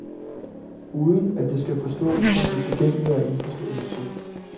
Uden at det skal forstås som utilgængelig og indforstået musik.